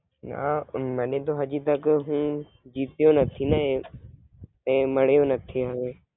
ના, મને તો હાજી તક નહીં જીત્યો નથી ને તે માલિયો નથી હવે.